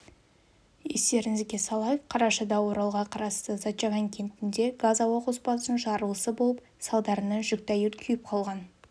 естеріңізге салайық қарашада оралға қарасты зачаган кентінде газ-ауа қоспасының жарылысы болып салдарынан жүкті әйел күйіп қалған